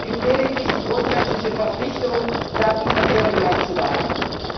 Es gibt lediglich die grundsätzliche Verpflichtung, Datenverkehre gleich zu behandeln.